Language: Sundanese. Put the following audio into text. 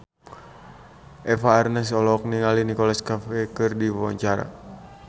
Eva Arnaz olohok ningali Nicholas Cafe keur diwawancara